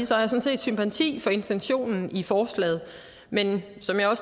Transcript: sådan set sympati for intentionen i forslaget men som jeg